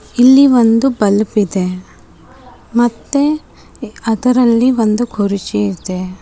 ಇಲ್ಲಿ ಒಂದು ಬಲ್ಪ್ ಇದೆ ಮತ್ತೆ ಅದರಲ್ಲಿ ಒಂದು ಕುರ್ಚಿ ಇದೆ.